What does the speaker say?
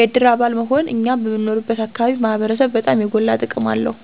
የድር አባል መሆን እኛ በምንኖርበት አካባቢ ማህበረሰብ በጣም የጎላ ጥቅም አለው።